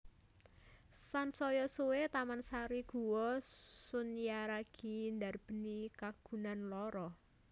Sansaya suwé Taman Sari Guwa Sunyaragi ndarbèni kagunan loro